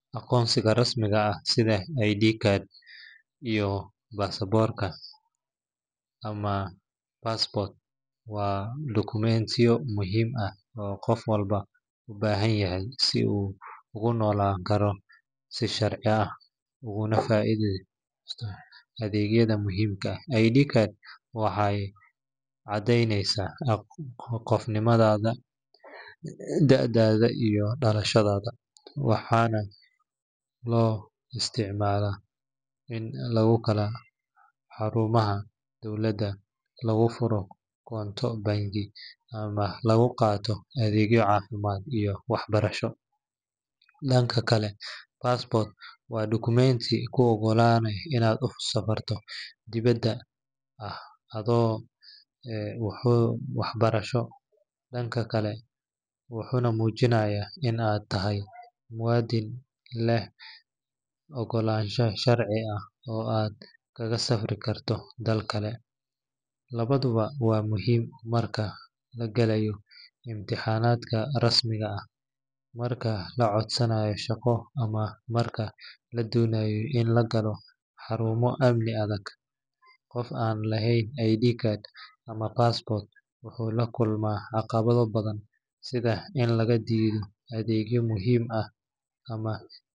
Aqoonsiga rasmiga ah sida ID card iyo baasaboorka ama passport waa dukumentiyo muhiim ah oo qof walba u baahan yahay si uu ugu noolaan karo si sharci ah, ugana faa’iidaysto adeegyada muhiimka ah. ID card waxay caddeyneysaa qofnimadaada, da’daada, iyo dhalashadaada, waxaana loo isticmaalaa in lagu galo xarumaha dowladda, lagu furo koonto bangi, ama lagu qaato adeegyo caafimaad iyo waxbarasho. Dhanka kale, passport waa dukumenti kuu ogolaanaya inaad safar dibadda ah aado, wuxuuna muujinayaa in aad tahay muwaadin leh oggolaansho sharci ah oo aad kaga safri karto dalalka kale. Labaduba waa muhiim marka la galayo imtixaanada rasmiga ah, marka la codsanayo shaqo, ama marka la doonayo in la galo xarumo amni adag. Qof aan lahayn ID card ama passport wuxuu la kulmaa caqabado badan sida in laga diido adeegyo muhiim ah ama .